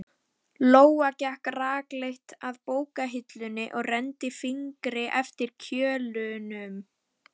Lóa gekk rakleitt að bókahillunni og renndi fingri eftir kjölunum.